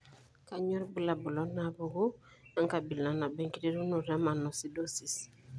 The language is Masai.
Kainyio irbulabul onaapuku enkabila nabo enkiterunoto mannosidosis?